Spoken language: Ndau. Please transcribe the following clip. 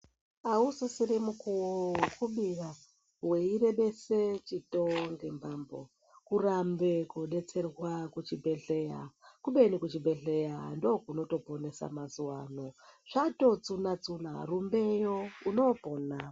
Ausisiri mukuwo wekubira weirebesa chitombi mbambo kurambe kodetserwa kuchibhedhlera kubeni kuchibhedhlera ndiko kunotoponesa mazuvaano zvatotsuna tsuna rumbeyo unoopona.